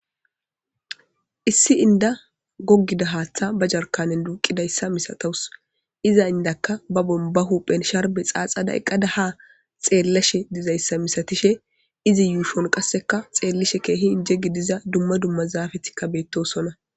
Issi inda goggiza haathaba jarkaanen duuqizayssa masataws.iza indiyakka bahuphen sharbe xaaxada haa xeellashe dizayssa misatishe beettawus.izi yuushon qassekka xeellishin keehi gidiza dumma dumma zaafeti de7oosona.